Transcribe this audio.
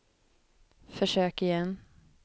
försök igen